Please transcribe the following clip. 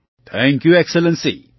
thank you excellency